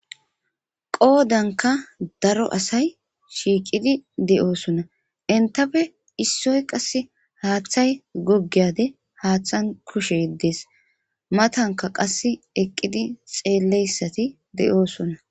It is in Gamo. Qoodanka daro asay shiiqidi de'oosona entafe issoy qasse haaththay goggiyade haaththan kushe yeddees matanka qas eqqidi xeelleyssati de'oosona